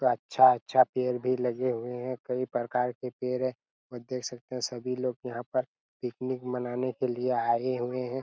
अच्छा-अच्छा पेड़ भी लगे हुए हैं कई प्रकार के पेड़ हैं और देख सकते हैं और सभी लोग यहाँ पर पिकनिक मनाने के लिए आए हुए हैं।